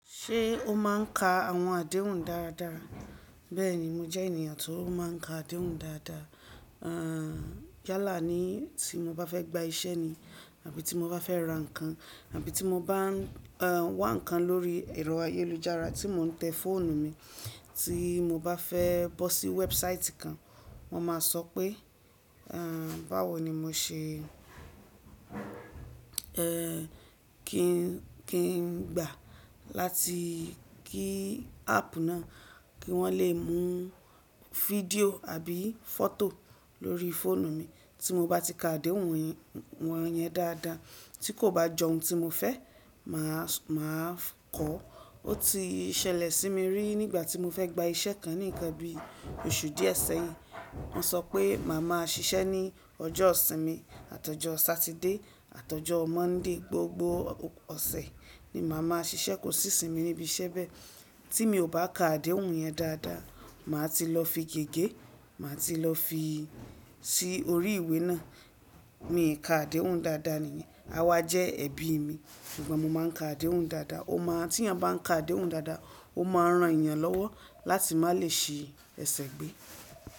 Ṣé o máa ń ka àwọn àdéhùn dáadáa? Bẹ́ẹ̀ni, mo jẹ́ ènìyàn tó máa ń ka àdéhùn dáadáa. Yálà ní tí mo bá fẹ́ gba iṣẹ́ ni àbí tí mo bá fẹ́ ra nǹkan àbí tí mo bá n wá nǹkan lórí ẹ̀rọ ayélujára tí mò ń tẹ fóònù mi, tí mo bá fẹ́ bọ́ sí website kan, mo máa sọ pé, "Báwo ni mo ṣe kí n gbà láti kí áàpù náà kí wọ́n lè mú fídíò àbí fọ́tò lórí fóònù mi?" Tí mo bá ti ka àdéhùn wọn yẹn dáadáa, tí kò bá jọ ohun tí mo fẹ́, mà á kọ̀ ọ́. Ó ti ṣẹlẹ̀ sí mi rí nígbà tí mo fẹ́ gba iṣẹ́ kan ní ìkáńbí oṣù díẹ̀ sẹ́yìn. Wọ́n sọ pé màá máa ṣiṣẹ́ ní ọjọ́ ìsinmi àtọjọ́ Satide àtọjọ́ Mọ́ndí, gbogbo ọ̀sẹ̀ ni màá máa ṣiṣẹ́, kò sí ìsinmi níbi iṣẹ́ bẹ́ẹ̀. Tí mi ò bá ka àdéhùn yẹn dáadáa, màá ti lọ fi gègé, màá ti lọ fi si ori ìwé náà. Mi ò ka àdéhùn dáadáa nìyẹn. Awa jẹ́ ẹbí mi, ṣùgbọ́n mo máa ń ka àdéhùn dáadáa o n maa, Tí eeyan bá ń ka àdéhùn dáadáa, ó máa ran èèyàn lọ́wọ́ láti má lè si ẹsẹ̀ gbé.